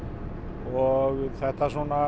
og þetta